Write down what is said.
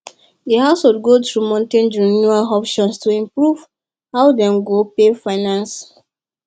the household go through mortgage renewal options to improve how dem go pay finance